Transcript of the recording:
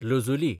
लजुलीं